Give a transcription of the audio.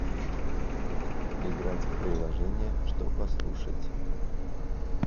играть в приложение что послушать